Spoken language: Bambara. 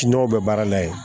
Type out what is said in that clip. N'o bɛ baara la yen